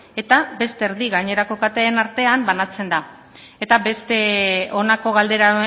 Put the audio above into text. eta beste erdia gainerako kateen artean banatzen da eta beste honako galdera